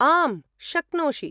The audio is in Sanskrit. आम्, शक्नोषि।